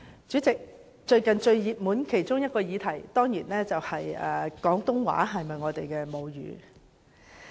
主席，最近有一個熱門議題，當然是廣東話是否大家的母語。